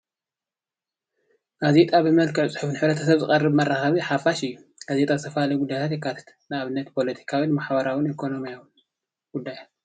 ጋዜጣ ብመልክዕ ፅሑፍ ንሕ/ሰብ ዝቀርብ መራከቢ ሓፋሽ እዩ። ጋዜጣ ዝተፈላለዩ ሚድያታት የቃልሕ ።ንኣብነት ፦ፖሎቲካዊ፣ ማሕበራዊ ፣ኢኮኖሚያዊ ጉዳያት።